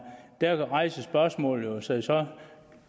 der rejser spørgsmålet sig jo så